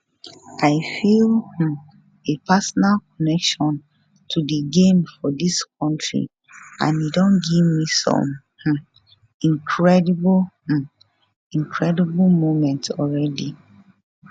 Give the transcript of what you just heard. i feel um a personal connection to di game for dis kontri and e don give me some um incredible um incredible moments already